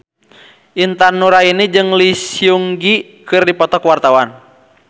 Intan Nuraini jeung Lee Seung Gi keur dipoto ku wartawan